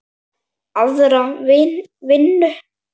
Aðra vinnu?